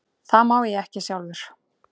Það má ég ekki sjálfur.